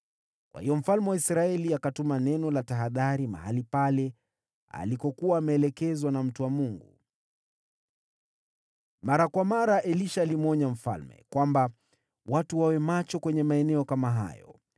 Kwa hiyo mfalme wa Israeli akatuma neno la tahadhari mahali pale alikokuwa ameelekezwa na mtu wa Mungu. Mara kwa mara Elisha alimwonya mfalme kwamba watu wawe macho kwenye maeneo kama hayo.